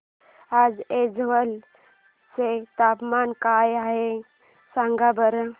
आज ऐझवाल चे तापमान काय आहे सांगा बरं